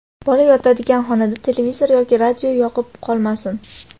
bola yotadigan xonada televizor yoki radio yoqib qolmasin.